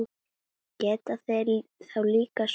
Geta þeir þá líka sokkið.